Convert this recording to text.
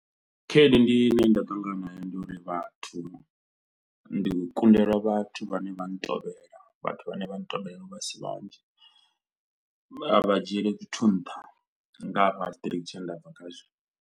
Khaedu ndi ine nda ṱangana nayo ndi uri vhathu ndi kundelwa vhathu vhane vha ntovhela vhathu vhane vha ntovhela a si vhanzhi, a vha dzhieli zwithu nṱha nga hafha tshitiriki tshine nda bva khazwo.